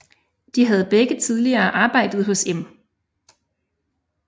De havde begge tidligere arbejdet hos Em